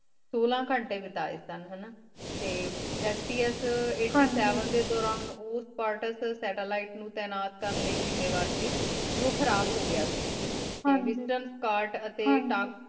ਸੋਲਾ ਕੇੰਟੀ ਬੇਟੇ ਸੁਨ ਟ ਟੀ FPS ਏਇਘ੍ਤ੍ਯ ਸੇਵੇਨ ਡੀ ਦੋਰਾਨ ਉਰ੍ਤ੍ਪਾਰ੍ਤਾਲ੍ਸ ਸੇਤ੍ਤ੍ਲੇਲਿਘ੍ਤ ਨੂ ਤ੍ਯ੍ਨਤ ਕਰਨ ਲੈ ਜੀ ਜ਼ਿਮ੍ਯ੍ਵਰ ਕ ਜੋ ਖਰਾਬ ਹੋ ਗਿਆ ਕ ਟੀ ਵੇਸ੍ਤ੍ਰੁਮ ਕਾਰਤ ਟੀ ਤਕ